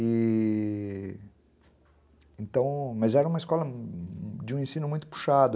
E... Então... Mas era uma escola de um ensino muito puxado.